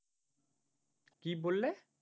কি বললে?